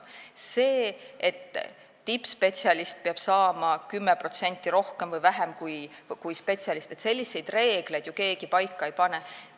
Selliseid reegleid, et tippspetsialist peab saama 10% rohkem või vähem kui spetsialist, ju keegi paika ei pane.